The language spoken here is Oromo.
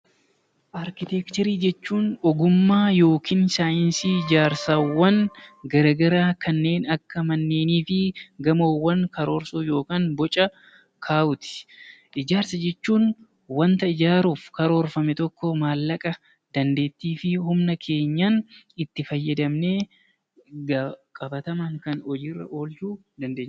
Arkiteekcharii jechuun ogummaa yookiin saayinsii ijaarsaawwan garaagaraa kanneen akka manneenii fi gamoowwan karoorsuu yookaan boca kaa'uuti. Ijaarsa jechuun waanta ijaaramuuf maallaqa, dandeettii fi humna keenyaan itti fayyadamnee qabatamaadhaan hojii irra oolchuu jechuudha.